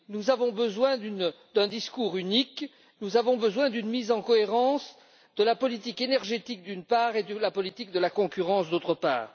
Nous avons besoin d'un discours unique, nous avons besoin d'une mise en cohérence de la politique énergétique, d'une part, et de la politique de la concurrence, d'autre part.